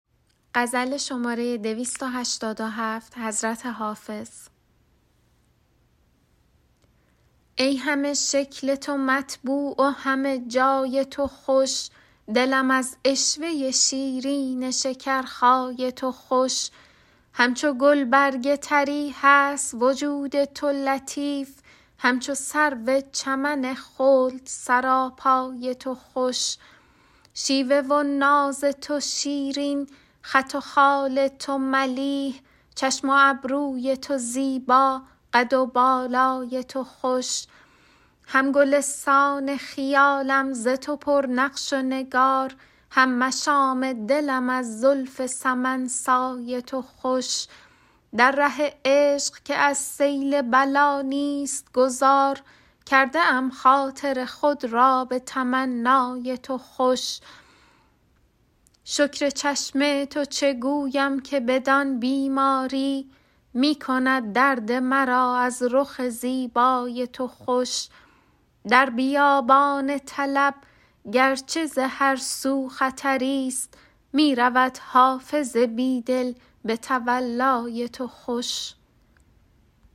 ای همه شکل تو مطبوع و همه جای تو خوش دلم از عشوه شیرین شکرخای تو خوش همچو گلبرگ طری هست وجود تو لطیف همچو سرو چمن خلد سراپای تو خوش شیوه و ناز تو شیرین خط و خال تو ملیح چشم و ابروی تو زیبا قد و بالای تو خوش هم گلستان خیالم ز تو پر نقش و نگار هم مشام دلم از زلف سمن سای تو خوش در ره عشق که از سیل بلا نیست گذار کرده ام خاطر خود را به تمنای تو خوش شکر چشم تو چه گویم که بدان بیماری می کند درد مرا از رخ زیبای تو خوش در بیابان طلب گر چه ز هر سو خطری ست می رود حافظ بی دل به تولای تو خوش